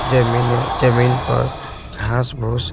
जमीने जमीन पर घास भोस--